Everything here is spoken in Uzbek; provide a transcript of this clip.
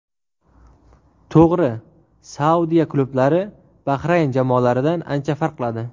To‘g‘ri, Saudiya klublari Bahrayn jamoalaridan ancha farq qiladi.